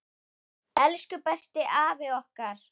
Elsku besti afi okkar!